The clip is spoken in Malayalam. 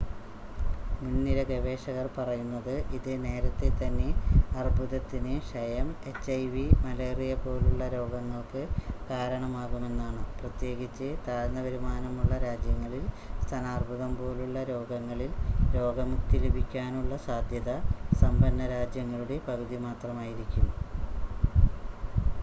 മുൻനിര ഗവേഷകർ പറയുന്നത് ഇത് നേരത്തേതന്നെ അർബുദത്തിന് ക്ഷയം എച്ച്ഐവി മലേറിയ പോലുള്ള രോഗങ്ങൾക്ക് കാരണമാകുമെന്നാണ് പ്രത്യേകിച്ച് താഴ്ന്ന വരുമാനമുള്ള രാജ്യങ്ങളിൽ സ്തനാർബുദം പോലുള്ള രോഗങ്ങളിൽ രോഗമുക്തി ലഭിക്കാനുള്ള സാദ്ധ്യത സമ്പന്ന രാജ്യങ്ങളുടെ പകുതി മാത്രമായിരിക്കും